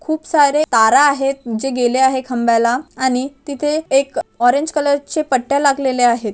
खूप सारे तारा आहेत जो गेले आहेत खांबयला आणि तिथे एक ऑरेंज कलर चे पट्ट्या लागलेले आहेत.